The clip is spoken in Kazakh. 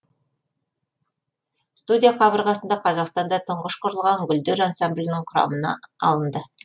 студия қабырғасында қазақстанда тұңғыш құрылған гүлдер ансамблінің құрамына алынды